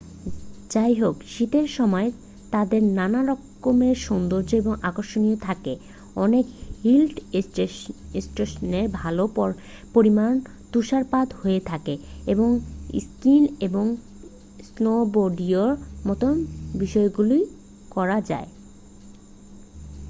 যাইহোক শীতের সময় তাদের নানা রকমের সৌন্দর্য এবং আকর্ষণ থাকে অনেক হিল স্টেশনে ভালো পরিমাণে তুষারপাত হয়ে থাকে এবং স্কিইং এবং স্নোবোর্ডিংয়ের মতো বিষয়গুলি করা যায়